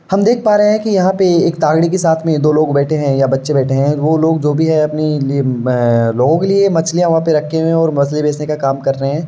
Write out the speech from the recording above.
हम देख पा रहे है कि यहाँ तागड़ी के साथ में दो लोग बेठे हैं या बच्चे बैठे हैं। वो लोग जो भी है अपने लिए अ लोगों के लिए मछलियाँ वहाँ पे रखे हुए हैऔर मछली बेचने का काम कर रहे है।